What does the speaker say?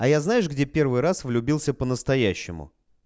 а я знаешь где первый раз влюбился по настоящему